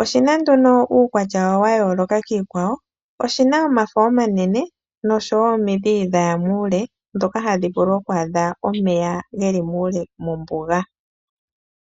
oshina nduno uukwatya wa yooloka kiikwawo, oshina omafo omanene noshowo omidhi dhaya muule, ndhoka hadhi vulu oku adha omeya geli muule mombuga.